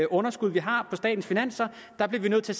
underskud vi har på statens finanser der bliver vi nødt til